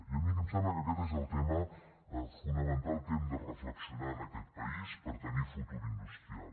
i a mi em sembla que aquest és el tema fonamental que hem de reflexionar en aquest país per tenir futur industrial